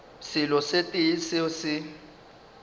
selo se tee seo se